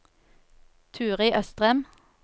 Turid Østrem